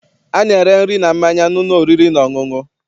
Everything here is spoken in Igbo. A na-ere nri na mmanya n'ụlọ oriri na ọṅụṅụ.